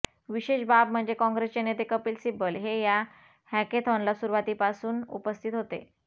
विशेष बाब म्हणजे काँग्रेसचे नेते कपिल सिब्बल हे या हॅकेथॉनला सुरुवातीपासून उपस्थित होते